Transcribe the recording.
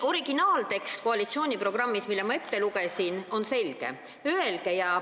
Koalitsiooniprogrammi originaaltekst, mille ma ette lugesin, on selge.